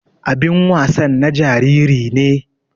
Abin wasan na jariri ne.